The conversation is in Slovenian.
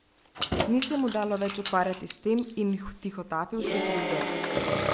Ni se mu dalo več ukvarjati s tem in vtihotapil se je pod odejo.